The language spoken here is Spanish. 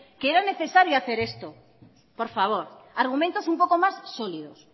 que era necesario hacer esto por favor argumentos un poco más sólidos